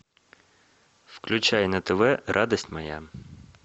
включай на тв радость моя